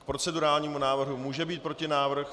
K procedurálnímu návrhu může být protinávrh.